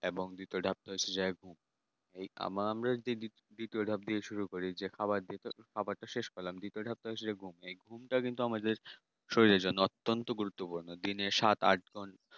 এবং দ্বিতীয় ধাপ হচ্ছে এই আমরা যেই দ্বিতীয় ধাপ দিয়ে শুরু খাবার দিয়ে খাবার শেষে এর পর তৃতীয় ধাপ সেটা কিন্তু আমাদের শরীরের জন্য অত্যেন্ত গুরুত্ব পূর্ণ দিনে সাথে আট ঘন্টা